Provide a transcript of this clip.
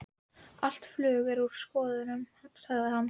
Allt flug er úr skorðum, sagði hann.